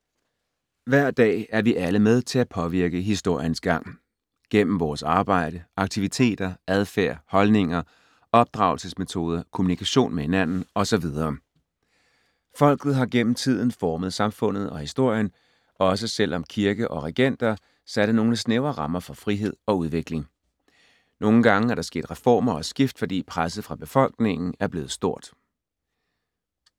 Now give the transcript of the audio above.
Hver dag er vi alle med til at påvirke historiens gang. Gennem vores arbejde, aktiviteter, adfærd, holdninger, opdragelsesmetoder, kommunikation med hinanden og så videre. Folket har gennem tiden formet samfundet og historien, også selv om kirke og regenter satte nogle snævre rammer for frihed og udvikling. Nogle gange er der sket reformer og skift, fordi presset fra befolkningen er blevet stort.